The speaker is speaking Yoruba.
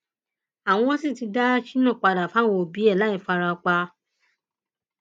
àwọn sì ti dá shina padà fáwọn òbí ẹ láì fara pa